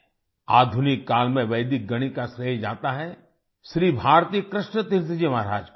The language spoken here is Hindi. आधुनिक काल में वैदिक गणित का श्रेय जाता है श्री भारती कृष्ण तीर्थ जी महाराज को